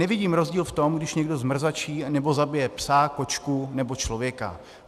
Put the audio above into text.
Nevidím rozdíl v tom, když někdo zmrzačí anebo zabije psa, kočku nebo člověka.